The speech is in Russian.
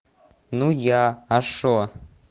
ну я а что